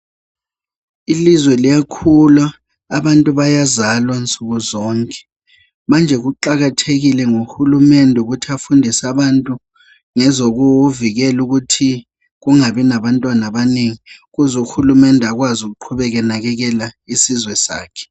Ilizwe liyakhula abantu bayazalwa nsuku zonke manje kuqakathekile ngohulumende ukuthi afundise abantu ngezokuvikela ukuthi kungabi labantwana abanengi ukuze uhulumende akwazi ukuqhubeka enakekela isizwe sakhe.